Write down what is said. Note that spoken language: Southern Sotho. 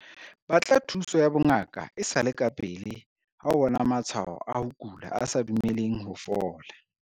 Batla thuso ya bongaka e sa le kapele ha o bona matshwao a ho kula a sa dumeleng ho fola.